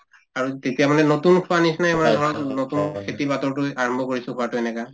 আৰু তেতিয়া মানে নতুন খোৱাৰ নিচিনাই হয় নতুন খেতি আৰম্ভ কৰিছো এনেকুৱা